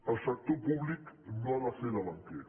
el sector públic no ha de fer de banquer